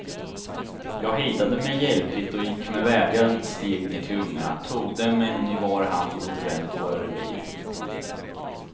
Jag hejdade mig hjälpligt och gick med värdiga steg ner till ungarna, tog dem en i var hand och återvände till våra revir.